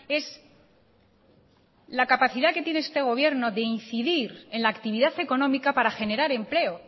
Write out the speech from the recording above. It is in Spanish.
es la capacidad que tiene este gobierno de incidir en la actividad económica para generar empleo